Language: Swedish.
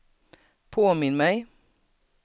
påminn mig